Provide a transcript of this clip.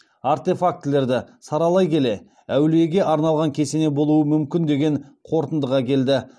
артефактілерді саралай келе әулиеге арналған кесене болуы мүмкін деген қорытындыға келді